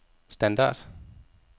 standard